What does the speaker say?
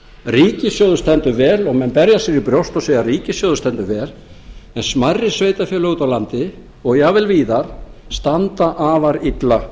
ríkissjóður stendur vel og menn berja sér á brjóst og segja ríkissjóður stendur vel en smærri sveitarfélög úti á landi og jafnvel víðar standa afar illa